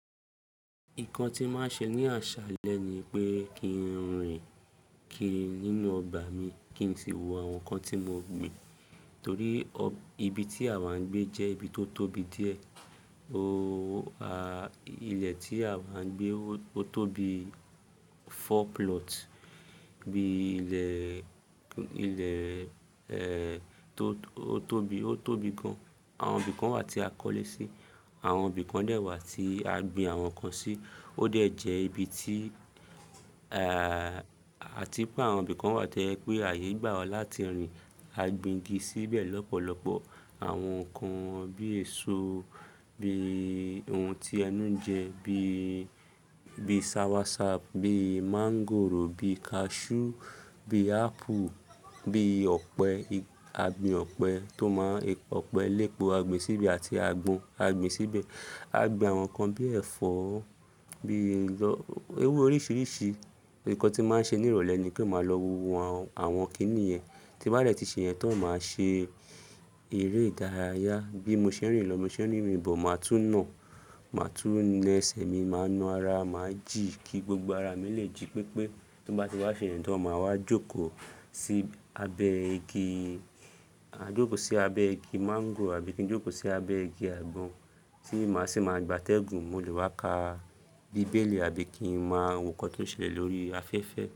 Nǹkan tí màá ṣe ní asalẹ́ ni pé kí n rìn kiri nínú ọgbà mi, kí n si wo àwọn nǹkan tí mo gbin. Torí ibi tí a wà ń gbé jẹ́ ibi tó tóbi díẹ̀. Ooo, à, ilẹ̀ tí a wà ń gbé ó tó bi four plot. Bí ilẹ̀, ilẹ̀, ẹ, tó, ó tóbi, ó tóbi gan. Àwọn ibi kan wà tí a kọ́lé sí, àwọn ibi kan dẹ̀ wà tí a gbin àwọn nǹkan sí. Ó dẹ̀ jẹ́ ibi tí, a, a ti pé àwọn ibi kan wà toje pé ààyè gbà wa láti rìn. A gbin igi síbẹ̀ lọ́pọ̀lọpọ̀. Àwọn nǹkan bí èso, bí ohun tí ẹnú ń jẹ, bí, bí soursoup, bí máńgòrò, bí kaṣú, bí ápple, bí ọ̀pẹ. A gbin ọ̀pẹ tó máa ń, ọ̀pẹ lépo, a gbin síbe àti àgbọn a gbin síbe. A gbin àwọn nǹkan bí ẹ̀fọ́, bí ọ, ewé oríṣiríṣi. Ǹkan tí màá ṣe ní ìrọ̀lẹ́ ni pé màá lọ wo àwọn, àwọn kìnì yẹn. Ti bá dẹ̀ ti ṣe yẹn tán, màá ṣe eré ìdárayá. Bí mo ṣe ń rìn lọ, bí mo ṣe ń rìn bọ̀, màá tú nà, màá tún na ẹ́sẹ̀ mi, màá na ara, màá jìí kí gbogbo ara mi lè jìí pé pé ti nnbá ti wá ṣe yẹn tán, màá wá jókòó sí abẹ́ igi, ma jókòó sí abẹ́ igi máńgò àbí kí n jókòó sí abẹ́ igi àgbọn tí màá sì máa gbátẹ́gùn. Mo lè wá kà bíbélì àbí kí n máa wo ǹkan tó ń ṣẹlẹ̀ lórí afẹ́fẹ́.